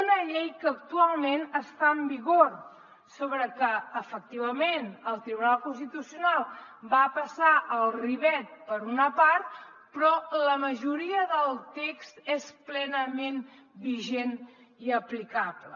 una llei que actualment està en vigor sobre la que efectivament el tribunal constitucional va passar el ribot per una part però la majoria del text és plenament vigent i aplicable